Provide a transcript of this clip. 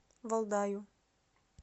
валдаю